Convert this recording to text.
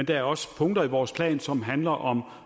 der er også punkter i vores plan som handler om